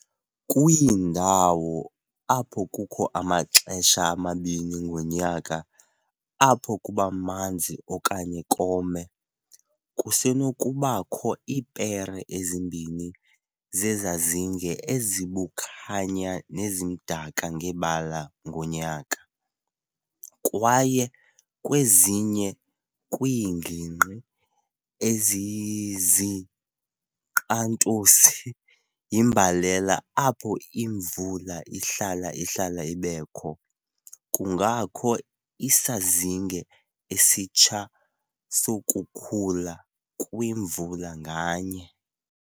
Kwiindawo apho kukho amaxesha amabini ngonyaka apho kubamanzi okanye kome, kusenokuba kho iipere ezimbini zezazinge ezibukhanya nezimdaka ngebala ngonyaka, kwaye kwezinye kwiingignqi ezizinkqantosi yimbalela apho imvula ihlala-ihlale ibekho, kungakho isazinge esitsha sokukhula kwimvula nganye.